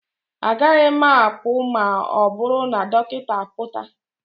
Agaghị m apụ ma ọ bụrụ na dọkịta apụta